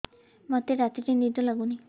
ମୋତେ ରାତିରେ ନିଦ ଲାଗୁନି